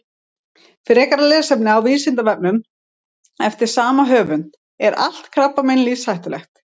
Frekara lesefni á Vísindavefnum eftir sama höfund: Er allt krabbamein lífshættulegt?